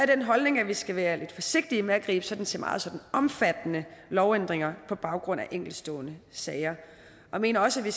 den holdning at vi skal være lidt forsigtige med at gribe til meget omfattende lovændringer på baggrund af enkeltstående sager jeg mener også at vi